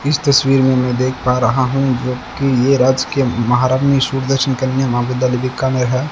इस तस्वीर में मैं देख पा रहा हूं कि ये राजकीय महारानी सुदर्शन कन्या महाविद्यालय बीकानेर है।